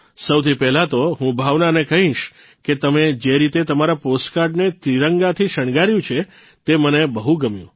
સૌથી પહેલા તો હું ભાવનાને કહીશ કે તમે જે રીતે તમારા પોસ્ટકાર્ડને ત્રિરંગાથી શણગાર્યું છે તે મને બહુ ગમ્યું